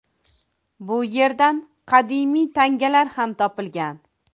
Bu erdan qadimiy tangalar ham topilgan.